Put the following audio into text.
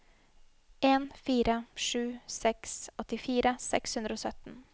en fire sju seks åttifire seks hundre og sytten